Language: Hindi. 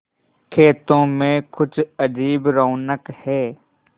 खेतों में कुछ अजीब रौनक है